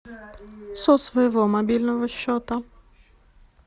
со своего мобильного счета